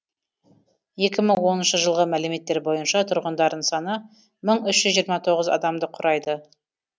екі мың оныншы жылғы мәліметтер бойынша тұрғындарының саны мың үш жүз жиырма тоғызыншы адамды құрайды